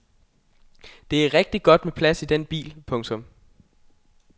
Der er rigtigt godt med plads i den bil. punktum